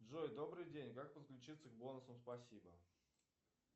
джой добрый день как подключиться к бонусам спасибо